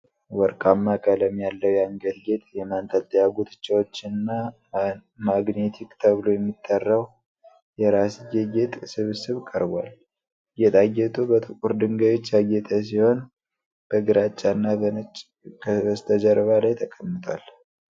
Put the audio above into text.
ወርቃማ ቀለም ያለው የአንገት ጌጥ፣ የማንጠልጠያ ጉትቻዎችና ማንግቲካ ተብሎ የሚጠራው የራስጌ ጌጥ ስብስብ ቀርቧል። ጌጣጌጡ በጥቁር ድንጋዮች ያጌጠ ሲሆን፣ በግራጫ እና በነጭ ከበስተጀርባ ላይ ተቀምጧል።